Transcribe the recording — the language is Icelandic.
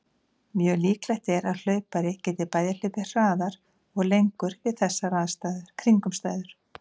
Mjög líklegt er að hlaupari geti bæði hlaupið hraðar og lengur við þessar kringumstæður.